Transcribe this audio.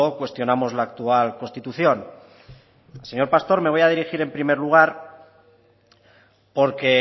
cuestionamos la actual constitución al señor pastor me voy a dirigir en primer lugar porque